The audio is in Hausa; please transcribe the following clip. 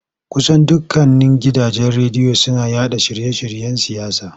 Kusan dukkan gidajen rediyo suna yaɗa shirye-shiryen siyasa.